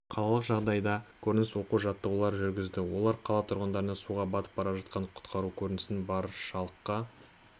қалалық жағажайда көрініс оқу-жаттығуларын жүргізді олар қала тұрғындарына суға батып бара жатқанды құтқару көрінісін баршалыққа